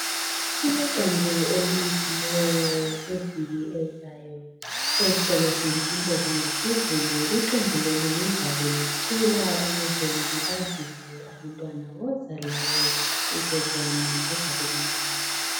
kuleqembu elinxusiweyo ngeviki ezayo esikolo semfundo zangephezulu iqembu leli lizabe licula ukuze lilibazise abantu abantwana woza lawe uzoba kuzabe kumnandi